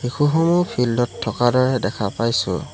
শিশুসমূহ field ত থকাৰ দৰে দেখা পাইছোঁ।